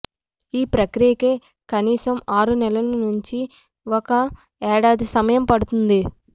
ఈ ప్రక్రియకే కనీసం ఆరు నెలల నుంచి ఒక ఏడాది సమయం పడుతుంది